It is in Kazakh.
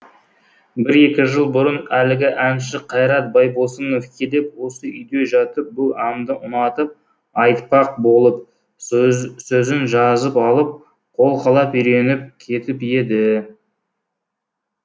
бір екі жыл бұрын әлгі әнші қайрат байбосынов келіп осы үйде жатып бұл әнді ұнатып айтпақ болып сөзін жазып алып қолқалап үйреніп кетіп еді